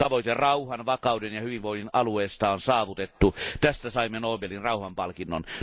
Tavoite rauhan, vakauden ja hyvinvoinnin alueesta on saavutettu, tästä saimme Nobelin rauhanpalkinnon.